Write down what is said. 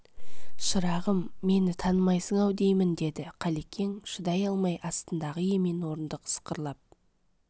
шырағым мені танымайсың-ау деймін деді қалекең шыдай алмай астындағы емен орындық сықырлап